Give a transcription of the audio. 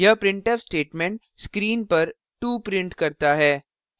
यह printf statement screen पर 2 printf करता है